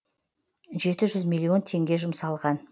жеті жүз миллион теңге жұмсалған